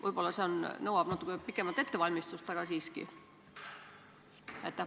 Võib-olla see nõuab natuke pikemat ettevalmistust, aga siiski?